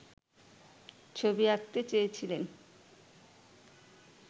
ছবি আঁকাতে চেয়েছিলেন